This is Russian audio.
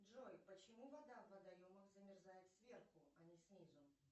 джой почему вода в водоемах замерзает сверху а не снизу